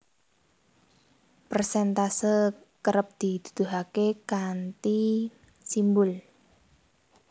Persèntase kerep dituduhaké kanthi simbul